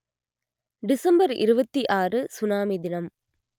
December இருபத்தி ஆறு tsunami தினம்